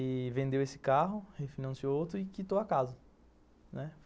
E vendeu esse carro, refinanciou outro e quitou a casa, né.